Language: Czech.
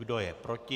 Kdo je proti?